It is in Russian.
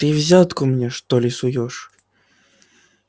ты взятку мне что ли суёшь